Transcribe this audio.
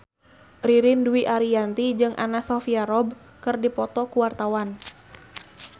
Ririn Dwi Ariyanti jeung Anna Sophia Robb keur dipoto ku wartawan